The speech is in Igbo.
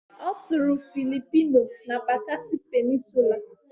Ọ sụrụ Philipino na Bakasi Peninsulaa